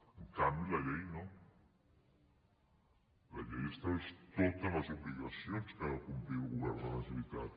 en canvi la llei no la llei estableix totes les obligacions que ha de complir el govern de la generalitat